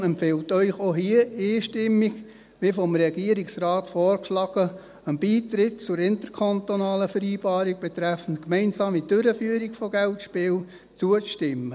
Die SiK empfiehlt Ihnen auch hier einstimmig, wie vom Regierungsrat vorgeschlagen, einem Beitritt zur interkantonalen Vereinbarung betreffend gemeinsame Durchführung von Geldspielen zuzustimmen.